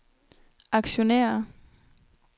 aktionærer